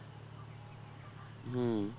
হম